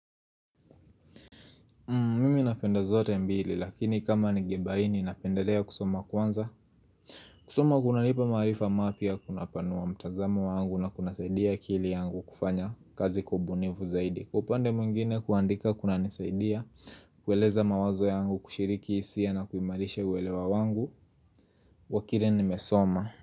Mimi napenda zote mbili lakini kama ningebaini napendelea kusoma kwanza kusoma kunanipa maarifa mapya kuna panua mtazama wangu na kuna saidia kili yangu kufanya kazi kubunivu zaidi Kupande mwingine kuandika kuna nisaidia kueleza mawazo yangu kushiriki isia na kuimalishe uwelewa wangu Wakile ni mesoma.